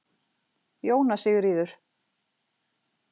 Jóna Sigríður